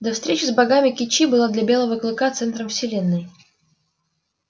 до встречи с богами кичи была для белого клыка центром вселенной